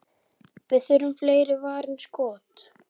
Við þurfum fleiri varin skot.